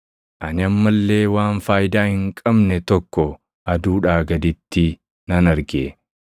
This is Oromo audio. Ani amma illee waan faayidaa hin qabne tokko aduudhaa gaditti nan arge: